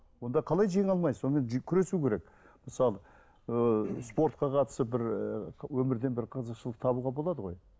онда қалай жеңе алмайсыз онымен күресу керек мысалы ыыы спортқа қатысып бір ыыы өмірден бір қызықшылық табуға болады ғой